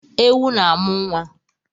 Ewu na-amụ nwa